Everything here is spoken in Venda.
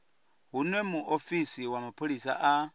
hune muofisi wa mapholisa a